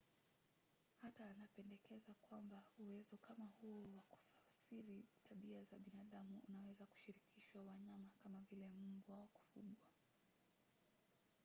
hata anapendekeza kwamba uwezo kama huo wa kufasiri tabia za binadamu unaweza kushirikishwa wanyama kama vile mbwa wa kufugwa